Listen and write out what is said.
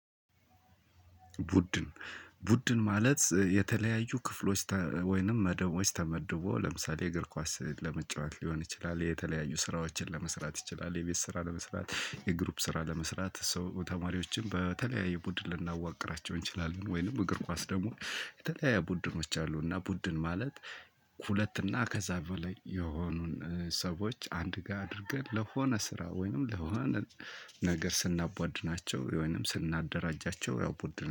ቡድን ቡድን ማለት የተለያዩ ክፍሎች ወይንም መደቦች ተመድቦ ለምሳሌ የእግር ኳስ ለመጫወት ሊሆን ይችላል የተለያዩ ስራዎችን ለመስራት ይችላል የቤት ስራ ለመስራት የግሩፕ ስራ ለመስራት ሰው ተማሪዎችን በተለያየ ቡድን ልናዋቅራቸው እንችላለን። ወይንም እግር ኳስ ደግሞ የተለያዩ ቡድኖች አሉ። እና ቡድን ማለት ሁለትና ከዛ በላይ የሆኑን ሰዎች አንድ ጋር አድርገን ለሆነ ስራ ወይንም ለሆነ ነገር ስናቧድናቸው ወይንም ስናደራጃቸው ያው ቡድን